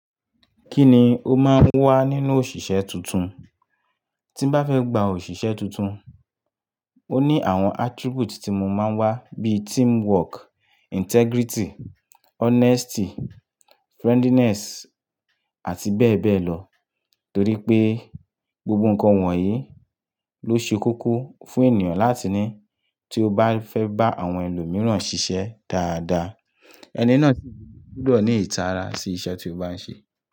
Kíni ó máa ń wá nínú òṣìṣẹ́ tuntun? Tí n bá fẹ́ gba òṣìṣẹ́ tuntun, ó ní àwọn attribute tí mo máa ń wá bí teamwork, integrity, honesty, friendliness àti bẹ́ẹ̀ bẹ́ẹ̀ lọ. Torí pé gbogbo nǹkan wọ̀nyí ló ṣe kókó fún ènìyàn láti ní tí ó bá fẹ́ bá àwọn ẹlòmíràn ṣiṣẹ́ dáadáa. Ẹni náà sì gbọdọ̀ ní ìtara sí iṣẹ́ tí ó bá ń ṣe.